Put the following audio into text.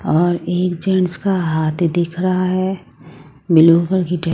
और एक जेंट्स का हाथ दिख रहा है।